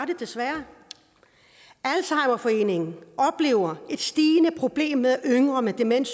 det desværre alzheimerforeningen oplever et stigende problem med at yngre med demens